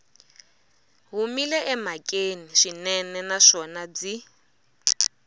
humile emhakeni swinene naswona byi